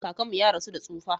Kakanmu ya rasu da tsufa.